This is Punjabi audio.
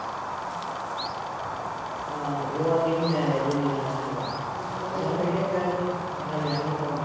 ਆਹੋ ਓਹ ਕਹਿੰਦੀ ਵੀ ਮੈਂ ਇਹਦੇ ਨੀ ਰਹਿਣ ਹੈਗਾ ਤੇ ਮੈਂ ਕਿਹਾ ਪਹਿਲਾਂ ਈ ਕਹਿ ਦਿੰਦੀ ਮੈਂ ਤੇਰੇ ਨਾਲ਼ ਵਿਆਹ ਈ ਨੀ ਕਰਾਉਣਾ